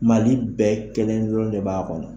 Mali bɛɛ kelen dɔrɔn de b'a kɔnɔ.